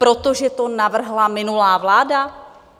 Protože to navrhla minulá vláda?